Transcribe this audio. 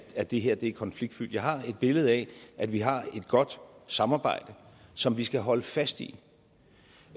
at det her er konfliktfyldt jeg har et billede af at vi har et godt samarbejde som vi skal holde fast i